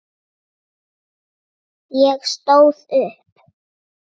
Ég stóð upp.